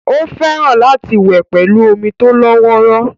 Ó fẹ́ràn láti wẹ̀ pẹ̀lú omi tó lọ́wọ́rọ́